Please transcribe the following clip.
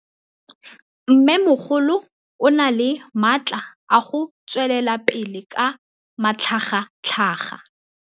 Mmêmogolo o na le matla a go tswelela pele ka matlhagatlhaga.